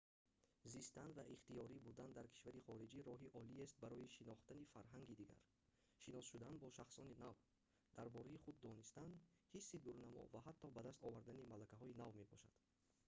зистан ва ихтиёрӣ будан дар кишвари хориҷӣ роҳи олиест барои шинохтани фарҳанги дигар шинос шудан бо шахсони нав дар бораи худ донистан ҳисси дурнамо ва ҳатто ба даст овардани малакаҳои нав мебошад